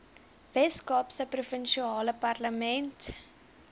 weskaapse provinsiale parlement